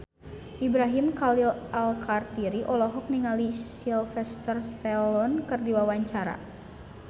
Ibrahim Khalil Alkatiri olohok ningali Sylvester Stallone keur diwawancara